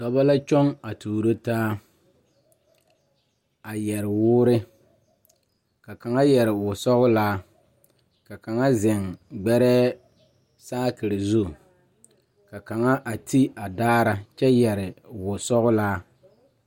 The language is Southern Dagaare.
Dɔba la kyɔŋ a tuuro taa a yɛre woore ka kaŋa yɛre wosɔglaa ka kaŋa zeŋ gbɛrɛɛ saakere zu ka laŋa a ti a daara kyɛ yɛre wosɔglaa.